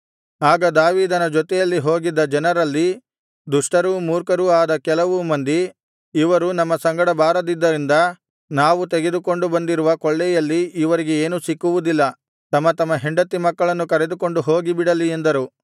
ಆಗ ದಾವೀದನ ಜೊತೆಯಲ್ಲಿ ಹೋಗಿದ್ದ ಜನರಲ್ಲಿ ದುಷ್ಟರೂ ಮೂರ್ಖರೂ ಆದ ಕೆಲವು ಮಂದಿ ಇವರು ನಮ್ಮ ಸಂಗಡ ಬಾರದ್ದರಿಂದ ನಾವು ತೆಗೆದುಕೊಂಡು ಬಂದಿರುವ ಕೊಳ್ಳೆಯಲ್ಲಿ ಇವರಿಗೆ ಏನೂ ಸಿಕ್ಕುವುದಿಲ್ಲ ತಮ್ಮ ತಮ್ಮ ಹೆಂಡತಿ ಮಕ್ಕಳನ್ನು ಕರೆದುಕೊಂಡು ಹೋಗಿಬಿಡಲಿ ಎಂದರು